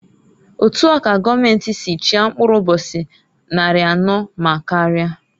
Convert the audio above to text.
Otua ka goomenti si chia mkpụrụ ụbọchị nnarị anọọ ma karia.